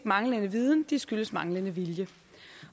manglende viden de skyldes manglende vilje